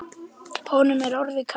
Honum er orðið kalt.